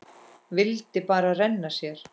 Vildi bara renna sér.